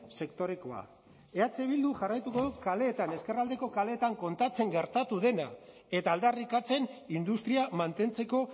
sektorekoa eh bilduk jarraituko du kaleetan ezkerraldeko kaleetan kontatzen gertatu dena eta aldarrikatzen industria mantentzeko